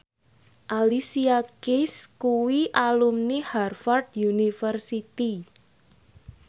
Alicia Keys kuwi alumni Harvard university